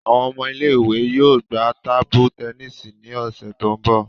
Awọn ọmọ ile-iwe yoo gba tabu tẹnisi ni ọsẹ ti n bọ.